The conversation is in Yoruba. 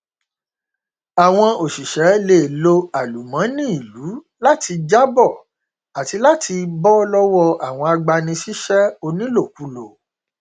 àwọn òṣìṣẹ lè lo àlùmọnì ìlú láti jábọ àti láti bọ lọwọ àwọn agbani síṣẹ onílòkulò